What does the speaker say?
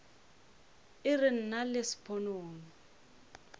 e re nna le sponono